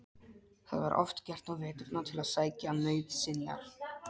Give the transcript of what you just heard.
Það var oft gert á veturna til að sækja nauðsynjar.